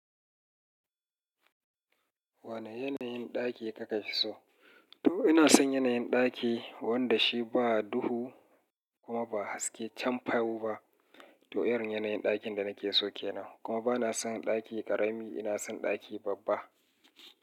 Wane yanayin ɗaki kakafi so? To ina son yanayin ɗaki wanda shi ba duhu kuma ba haske can fayau ba. To irin yanayin ɗakin da nake so kenan. Kuma bana son ɗaki ƙarami, ina son ɗaki babba.